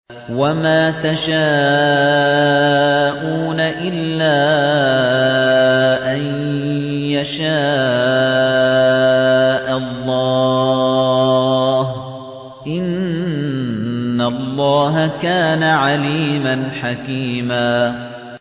وَمَا تَشَاءُونَ إِلَّا أَن يَشَاءَ اللَّهُ ۚ إِنَّ اللَّهَ كَانَ عَلِيمًا حَكِيمًا